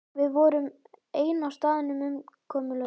Við vorum ein á staðnum, umkomulaus.